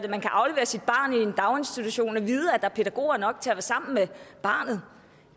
man kan aflevere sit barn i en daginstitution og vide at der er pædagoger nok til at være sammen med barnet